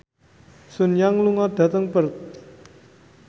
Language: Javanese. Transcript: Sun Yang lunga dhateng Perth